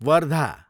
Wardha